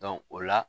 o la